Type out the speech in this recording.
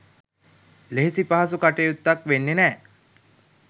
ලෙහෙසි පහසු කටයුත්තක් වෙන්නෙ නෑ.